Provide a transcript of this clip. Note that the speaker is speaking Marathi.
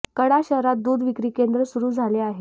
कडा शहरात दूध विक्री केंद्र सुरू केले आहे